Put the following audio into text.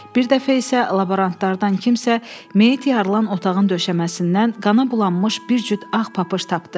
Bir dəfə isə laborantlardan kimsə meyit yaralan otağın döşəməsindən qana bulanmış bir cüt ağ papış tapdı.